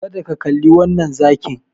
Kada ka kalli wannan zakin.